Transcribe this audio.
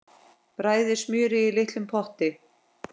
Bræðið smjörið í litlum potti.